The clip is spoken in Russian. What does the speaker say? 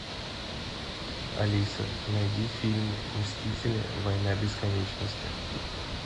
алиса найди фильм мстители война бесконечности